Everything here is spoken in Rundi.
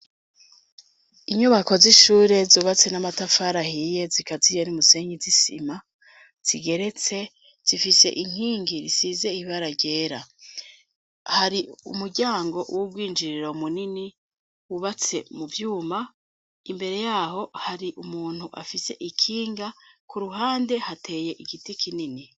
Inyubako z'ishure zubatse n'amatafari ahiye zikaziye n'umusenyi zisima zigeretse zifise inkingi zisize ibara ryera. Har'umuryango w'ubwinjiriro munini wubatse muvyuma imbere yaho hari umuntu afise ikinga k'uruhande hateye igiti kinini.